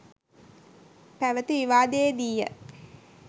පැවති විවාදයේදීය.